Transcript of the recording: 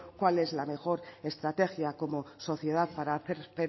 cuál es la mejor estrategia como sociedad para hacer